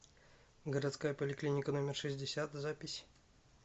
городская поликлиника номер шестьдесят запись